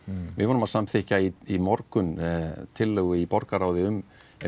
við vorum að samþykkja í morgun tillögu í borgarráði um